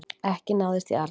Ekki náðist í Arnar